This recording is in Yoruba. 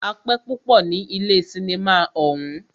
A pẹ́ púpọ ní ilé cinimá ọ̀ún.